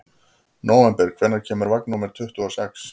Nóvember, hvenær kemur vagn númer tuttugu og sex?